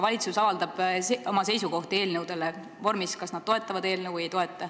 Valitsus avaldab oma seisukohti eelnõudele vormis, kas nad toetavad eelnõu või ei toeta.